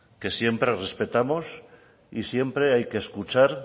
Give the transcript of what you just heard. que siempre respetamos y siempre hay que escuchar